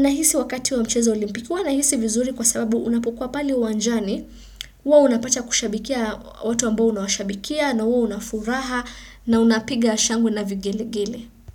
Nahisi wakati wa mcheza wa olimpiki huwa nahisi vizuri kwa sababu unapokua paleu wanjani huWa unapata kushabikia watu ambao unawashabikia na huwa unafuraha na unapiga shangwe na vigele gele.